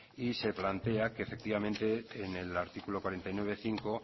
y se plantea que efectivamente en el artículo cuarenta y nueve punto cinco